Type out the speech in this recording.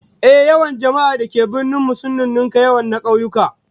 Ehh, yawan jama'ar da ke birni sun nunnunka yawan na kauyuka